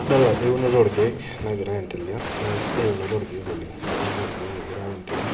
Adol ajo eunoto orkeek nagira aendelea naa kisidai eunoto orkeek oleng eunoto orkeek egirae aun tene